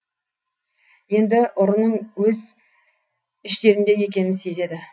енді ұрының өз іштерінде екенін сезеді